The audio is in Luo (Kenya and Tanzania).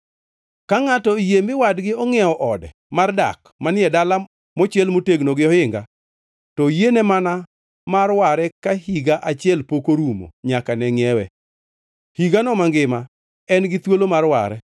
Ka ngʼato oyie mi wadgi ongʼiewo ode mar dak manie dala mochiel motegno gi ohinga, to oyiene mana mar ware ka higa achiel pok orumo nyaka ne ngʼiewe. Higano mangima en gi thuolo mar ware.